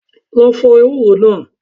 Lọ fọ ewúro náà.